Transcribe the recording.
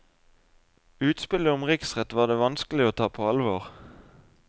Utspillet om riksrett var det vanskelig å ta på alvor.